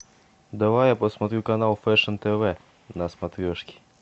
давай я посмотрю канал фэшн тв на смотрешке